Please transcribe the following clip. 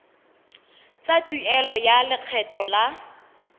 tsa tuelo ya lekgetho la